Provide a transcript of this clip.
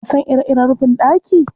Ka sa ire-iren rufin ɗaki?